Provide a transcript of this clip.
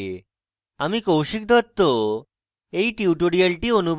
আমি কৌশিক দত্ত এই টিউটোরিয়ালটি অনুবাদ করেছি